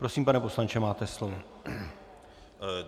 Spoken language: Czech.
Prosím, pane poslanče, máte slovo.